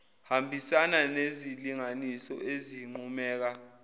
hambisana nezilinganiso ezinqumeka